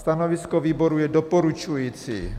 Stanovisko výboru je doporučující.